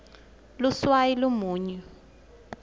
luswayi lumunyu